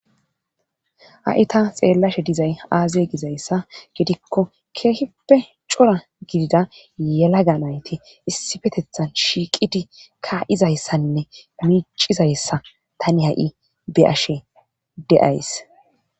ha7i ta xeellashe dizay aaze gizayssa gidikko keehippe cora gidida yelaganayti issifetethan shiiqidi kaa7izayssanne micizayssa tani ha7i be ashe deays